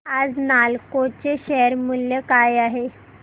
आज नालको चे शेअर मूल्य काय आहे